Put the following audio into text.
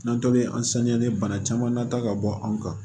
N'an tolen an saniya bana caman na ta ka bɔ anw kan